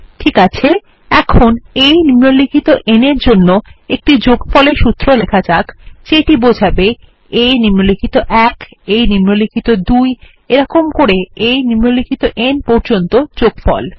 ঠিককাছে এখন a নিম্নলিখিত n এর জন্য একটি যোগফলের সুত্র লেখা যাক যেটি বোঝাবে a নিম্নলিখিত ১ a নিম্নলিখিত ২ এরকম করে a নিম্নলিখিত n পর্যন্ত যোগফল